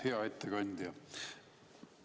Hea ettekandja!